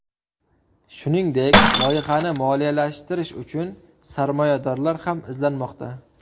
Shuningdek, loyihani moliyalashtirish uchun sarmoyadorlar ham izlanmoqda.